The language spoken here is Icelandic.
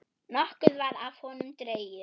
Nokkuð var af honum dregið.